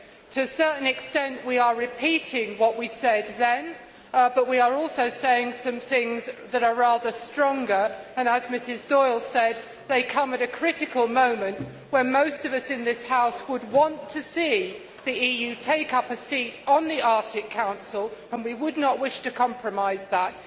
To a certain extent we are repeating what we said then, but we are also saying some things that are rather stronger and, as Mrs Doyle said, they come at a critical moment when most of us in this House would want to see the EU take up a seat on the Arctic Council, and we would not wish to compromise that.